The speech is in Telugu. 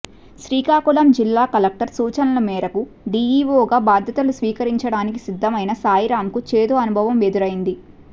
శ్రీకాకుళం జిల్లా కలెక్టర్ సూచనల మేరకు డీఈఓగా బాధ్యతలు స్వీకరించడానికి సిద్ధమైన సాయిరాంకు చేదు అనుభవం ఎదురైంది